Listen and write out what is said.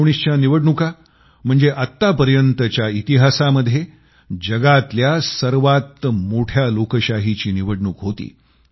2019च्या निवडणुका म्हणजे आत्तापर्यंतच्या इतिहासामध्ये जगातल्या सर्वात मोठ्या लोकशाहीची निवडणूक होती